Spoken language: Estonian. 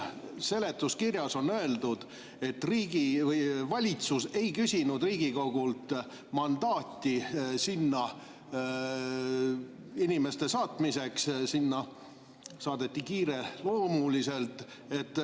Seletuskirjas on öeldud, et valitsus ei küsinud Riigikogult mandaati sinna inimeste saatmiseks, sest nad saadeti sinna kiireloomuliselt.